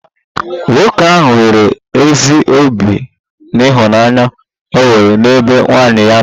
Nwoke ahụ nwere ezi obi n'ịhụnanya o nwere n'ebe nwunye ya nọ